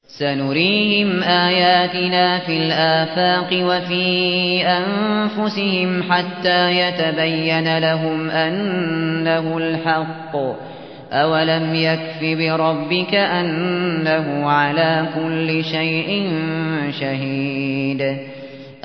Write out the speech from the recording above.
سَنُرِيهِمْ آيَاتِنَا فِي الْآفَاقِ وَفِي أَنفُسِهِمْ حَتَّىٰ يَتَبَيَّنَ لَهُمْ أَنَّهُ الْحَقُّ ۗ أَوَلَمْ يَكْفِ بِرَبِّكَ أَنَّهُ عَلَىٰ كُلِّ شَيْءٍ شَهِيدٌ